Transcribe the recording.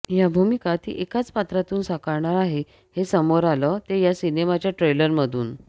या भूमिका ती एकाच पात्रामधून साकारणार आहे हे समोर आलं ते या सिनेमाच्या ट्रेलरमधून